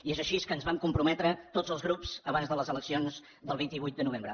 i és així que ens vam comprometre tots els grups abans de les eleccions del vint vuit de novembre